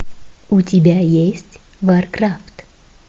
у тебя есть варкрафт